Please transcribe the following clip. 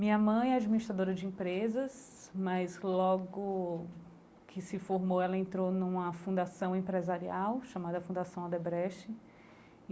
Minha mãe é administradora de empresas, mas logo que se formou ela entrou numa fundação empresarial, chamada Fundação Odebrecht e.